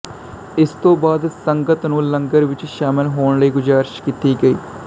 ਇਸ ਤੋਂ ਬਾਅਦ ਸੰਗਤ ਨੂੰ ਲੰਗਰ ਵਿੱਚ ਸ਼ਾਮਿਲ ਹੋਣ ਲਈ ਗੁਜ਼ਾਰਿਸ਼ ਕੀਤੀ ਗਈ